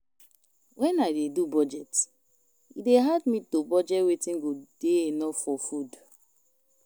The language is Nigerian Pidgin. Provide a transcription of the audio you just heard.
Wen I dey do budget, e dey hard me to budget wetin go dey enough for food.